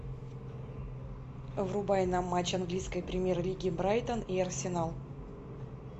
врубай нам матч английской премьер лиги брайтон и арсенал